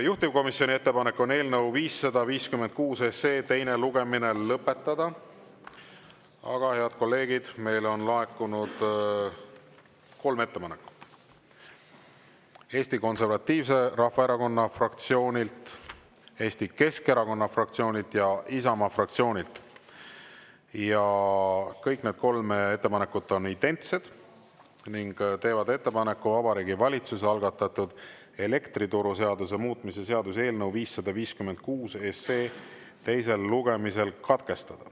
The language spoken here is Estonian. Juhtivkomisjoni ettepanek on eelnõu 556 teine lugemine lõpetada, aga, head kolleegid, meile on laekunud kolm ettepanekut Eesti Konservatiivse Rahvaerakonna fraktsioonilt, Eesti Keskerakonna fraktsioonilt ja Isamaa fraktsioonilt ja kõik need kolm ettepanekut on identsed ning teevad ettepaneku Vabariigi Valitsuse algatatud elektrituruseaduse muutmise seaduse eelnõu 556 teine lugemine katkestada.